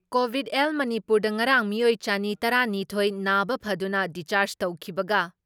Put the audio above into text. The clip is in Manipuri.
ꯀꯣꯚꯤꯠ ꯑꯦꯜ ꯃꯅꯤꯄꯨꯔꯗ ꯉꯔꯥꯡ ꯃꯤꯑꯣꯏ ꯆꯅꯤ ꯇꯔꯥ ꯅꯤꯊꯣꯏ ꯅꯥꯕ ꯐꯗꯨꯅ ꯗꯤꯁꯆꯥꯔꯖ ꯇꯧꯈꯤꯕꯒ